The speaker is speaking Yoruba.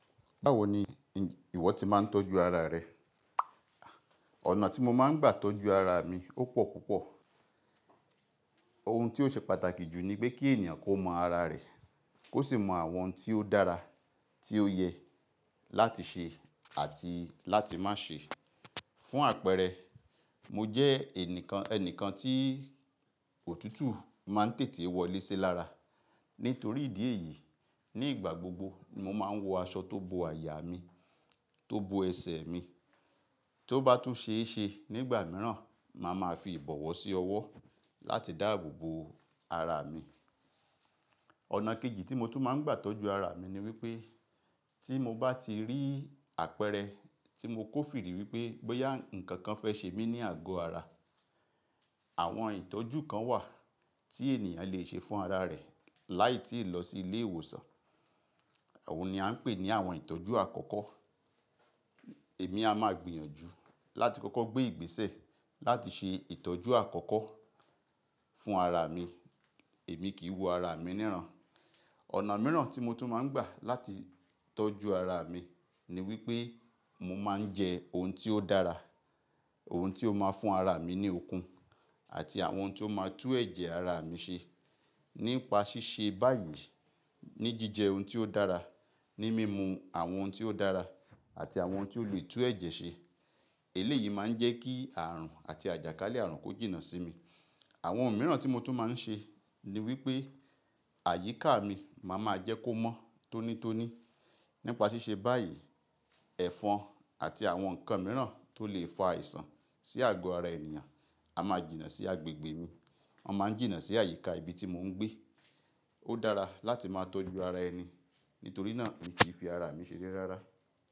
Báwo ni i ìwọ ti máa ń tọ́jú ara rẹ? Ọ̀nà tí mo máa ń gbà tọ́jú ara mi ó pọ̀ púpọ̀. Ohun ti o ṣe pàtàkì jù ni pé kí ènìyàn kó mọ ara rẹ̀, kó sì mọ àwọn n tí ó dára, tí ó yẹ láti ṣe àti láti má ṣe. Fún àpẹẹrẹ, mo jẹ́ ẹnìkan, ẹni kan tí òtútù máa ń tètè wọlé sí lára. Nítorí ìdí èyí, ní ìgbà gbogbo mo máa ń wọ aṣọ tó bo àyà mi, tó bo ẹsẹ̀ mi. Tó bá tún ṣe é ṣe nígbà mìíràn, màá ma fi ìbọ̀wọ́ sí ọwọ́ láti dáàbò bo ara mi. Ọ̀nà kejì tí mo tún máa ń gbà tọ́jú ara mi ni wípé tí mo bá ti rí àpẹẹrẹ tí mo kó fi rí wípé bóyà nǹkan kan fẹ́ ṣe mí ní àgọ́ ara. Àwọn ìtọ́jú kan wà tí ènìyàn le ṣe fún ara rẹ̀ láì tí ì lọ sí ilé ìwòsàn. Oun ni a ń pè ní àwọn ìtọ́jú àkọ́kọ́. Èmi a máa gbìyànjú láti kọ́kọ́ gbé ìgbésẹ̀ láti ṣe ìtọ́jú àkọ́kọ́ fún ara mi. Èmi kì í wu ara mi níràn. Ọ̀nà mìíràn tí mo tún máa ń gbà láti tọ́jú ara mi ni wípé mo máa ń jẹ ohun tí ó dára, ohun tí ó máa fún ara mi ní okun àti àwọn oun tí ó máa tú ẹ̀jẹ̀ ara mi ṣe. Nípa ṣíṣe báyìí ní jíjẹ oun tí ó dára, ní mímu àwọn oun tí ó dára àti àwọn oun tí ó lè tú ẹ̀jẹ̀ ṣe. Èlé yìí máa ń jẹ́ kí àrùn àti àjàkálẹ̀ àrùn kó jìnnà sí mi. Àwọn oun mìíràn tí mo tún máa ń ṣe ni wípé àyíká mi màá ma jẹ́ kó mọ́ tónítóní. Nípa ṣíṣe báyìí, ẹ̀fọn àti àwọn nǹkan mìíràn tó lè fa àìsàn sí àgọ́ ara ènìyàn a máa jìnnà sí agbègbè mi. Wọ́n máa ń jìnnà sí àyíká ibi tí mò ń gbé. Ó dára láti máa tọ́jú ara ẹni nítorí náà mì n kí fi ara mi ṣe ré rárá.